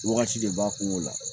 Wagati de b'a kungo la